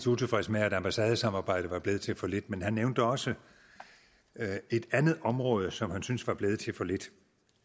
utilfreds med at ambassadesamarbejdet er blevet til for lidt men han nævnte også et andet område som han syntes var blevet til for lidt